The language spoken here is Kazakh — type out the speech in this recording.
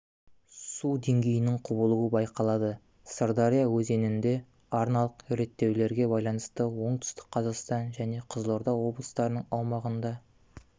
су деңгейінің құбылуы байқалады сырдария өзенінде арналық реттеулерге байланысты оңтүстік қазақстан және қызылорда облыстарының аумағында